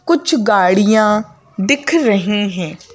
कुछ गाड़ियां दिख रही हैं।